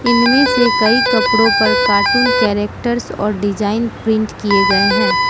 इनमें से कई कपड़ों पर कार्टून कैरेक्टर्स और डिजाइन प्रिंट किए गए हैं।